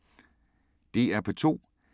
DR P2